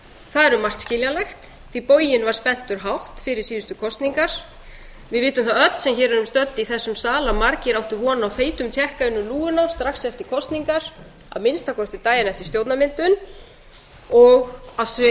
það er um margt skiljanlegt því að boginn var spenntur hátt fyrir síðustu kosningar við vitum það öll sem hér erum stödd í þessum sal að margir áttu von á feitum tékka inn um lúguna strax eftir kosningar að minnsta kosti daginn eftir stjórnarmyndun og að